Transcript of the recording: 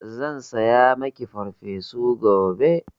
Zan saya maki Farfesu gobe.